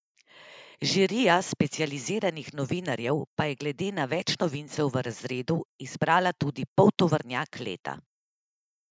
Žirija specializiranih novinarjev pa je glede na več novincev v razredu izbrala tudi poltovornjak leta.